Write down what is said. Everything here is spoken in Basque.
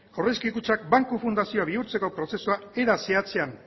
aurrezki kutxak banku fundazio bihurtzeko prozesua era zehatzean